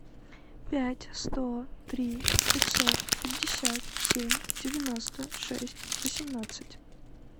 пять сто три пятьсот пятьдесят семь девяносто шесть восемнадцать